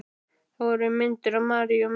Þar voru myndir af Maríu og mömmu í